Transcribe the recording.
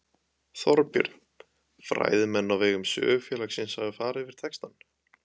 Þorbjörn: Fræðimenn á vegum Sögufélagsins hafa farið yfir textann?